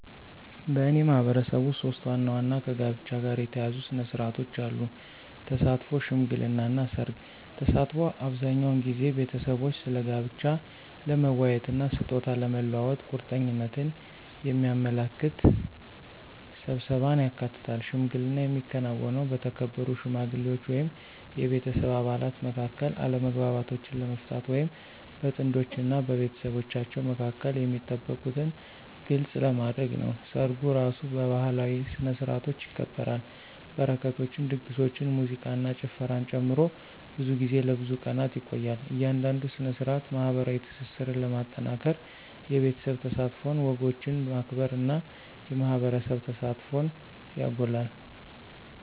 በእኔ ማህበረሰብ ውስጥ ሶስት ዋና ዋና ከጋብቻ ጋር የተያያዙ ሥነ ሥርዓቶች አሉ - ተሳትፎ፣ ሽምግልና እና ሠርግ። ተሳትፎ አብዛኛውን ጊዜ ቤተሰቦች ስለ ጋብቻ ለመወያየት እና ስጦታ ለመለዋወጥ ቁርጠኝነትን የሚያመለክት ስብሰባን ያካትታል። ሽምግልና የሚከናወነው በተከበሩ ሽማግሌዎች ወይም የቤተሰብ አባላት መካከል አለመግባባቶችን ለመፍታት ወይም በጥንዶች እና በቤተሰቦቻቸው መካከል የሚጠበቁትን ግልጽ ለማድረግ ነው። ሰርጉ እራሱ በባህላዊ ስነ-ስርዓቶች ይከበራል, በረከቶችን, ድግሶችን, ሙዚቃን እና ጭፈራን ጨምሮ, ብዙ ጊዜ ለብዙ ቀናት ይቆያል. እያንዳንዱ ሥነ ሥርዓት ማኅበራዊ ትስስርን ለማጠናከር የቤተሰብ ተሳትፎን፣ ወጎችን ማክበር እና የማህበረሰብ ተሳትፎን ያጎላል።